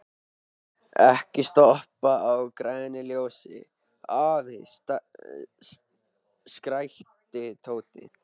Ekki stoppa á grænu ljósi, afi! skrækti Tóti.